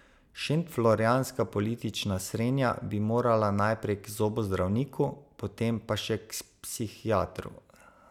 Šentflorjanska politična srenja bi morala najprej k zobozdravniku, potem pa še k psihiatru.